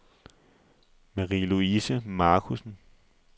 Marie-Louise Markussen